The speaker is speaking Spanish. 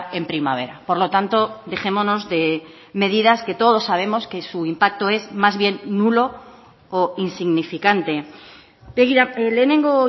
en primavera por lo tanto dejémonos de medidas que todos sabemos que su impacto es más bien nulo o insignificante begira lehenengo